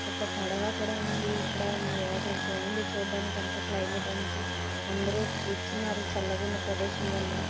ఒక పడవ కూడా ఉంది ఇక్కడ వాటర్ బాగుంది చూడడానికి అంత క్లైమేట్ అంతా అందరూ కూర్చున్నారు చల్లగా ఉన్న ప్రదేశం వల్ల